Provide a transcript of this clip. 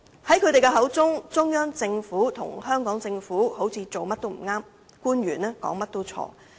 在他們的口中，中央政府和香港政府好像做甚麼也不對，官員說甚麼也是錯。